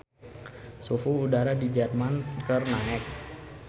Suhu udara di Jerman keur naek